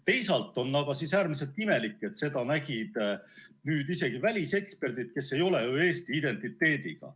Teisalt on äärmiselt imelik, et seda nägid isegi väliseksperdid, kes ei ole ju Eesti identiteediga.